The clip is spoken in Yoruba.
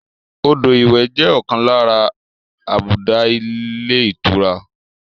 Odò ìwẹ̀ jẹ ọkan lára àbùdá ilé ìtura